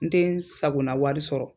N te n sakona wari sɔrɔ.